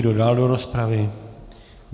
Kdo dál do rozpravy?